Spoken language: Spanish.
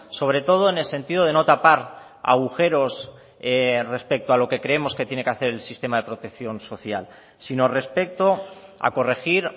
sobre todo en el sentido de no tapar agujeros respecto a lo que creemos que tiene que hacer el sistema de protección social sino respecto a corregir